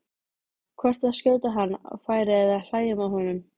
hvort að skjóta hann á færi eða hlæja með honum.